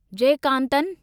Jayakanthan